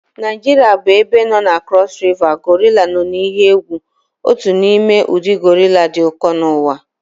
Naijiria bụ ebe nọ na Cross River gorilla nọ n'ihe egwu, otu n'ime ụdị gorilla dị ụkọ n'ụwa